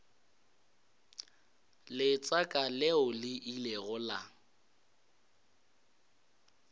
letseka leo le ilego la